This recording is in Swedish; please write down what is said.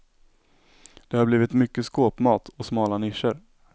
Det har blivit mycket skåpmat och smala nischer.